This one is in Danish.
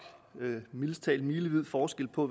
milevid forskel på